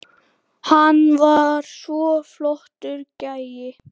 Hann var svo flottur gæi.